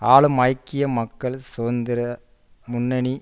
ஆளும் ஐக்கிய மக்கள் சுதந்திர முன்னணி